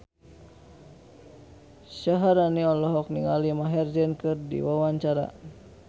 Syaharani olohok ningali Maher Zein keur diwawancara